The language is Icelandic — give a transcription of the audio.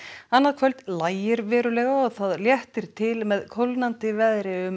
annað kvöld lægir verulega og það léttir til með kólnandi veðri um